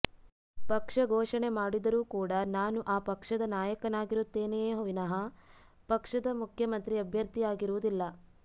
ಪಕ್ಷ ಘೋಷಣೆ ಮಾಡಿದರೂ ಕೂಡ ನಾನು ಆ ಪಕ್ಷದ ನಾಯಕನಾಗಿರುತ್ತೇನೆಯೇ ವಿನಃ ಪಕ್ಷದ ಮುಖ್ಯಮಂತ್ರಿ ಅಭ್ಯರ್ಥಿಯಾಗಿರುವುದಿಲ್ಲ